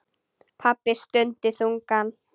Pabbi stundi þungan.